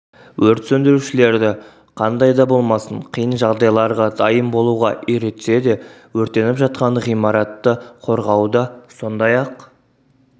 өрт сөндірушілерді қандай да болмасын қиын жағдайларға дайын болуғы үйретсе де өртеніп жатқан ғимаратты қорғауда сондай-ақ